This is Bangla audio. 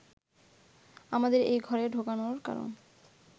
আমাদের এ ঘরে ঢোকানোর কারণ